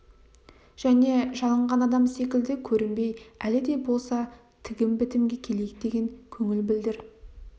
және жалынған адам секілді көрінбей әлі де болса тігім-бітімге келейік деген көңіл білдір